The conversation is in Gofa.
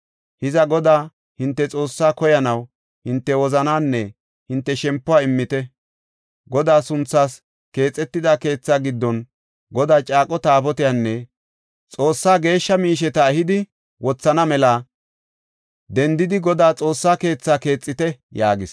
Hiza Godaa hinte Xoossaa koyanaw hinte wozanaanne hinte shempuwa immite. Godaa sunthaas keexetida keethaa giddon Godaa caaqo Taabotiyanne Xoossaa geeshsha miisheta ehidi wothana mela dendidi Godaa Xoossaa keethaa keexite” yaagis.